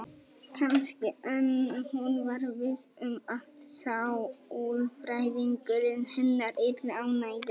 Kannski, en hún var viss um að sálfræðingurinn hennar yrði ánægður.